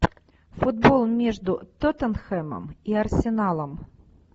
футбол между тоттенхэмом и арсеналом